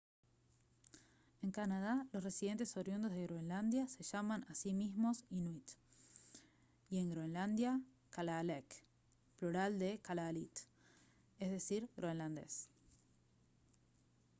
en canadá los residentes oriundos de groenlandia se llaman a sí mismos inuit y en groenlandia kalaalleq plural de kalaallit; es decir groenlandés